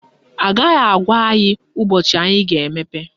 Agaghị agwa anyị ụbọchị anyị ga-emepe